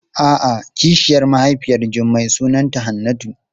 A'a kishiyar mahaifiyar Jummai sunanta Hannatu.